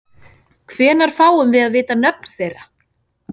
Hvenær fáum við að vita nöfn þeirra?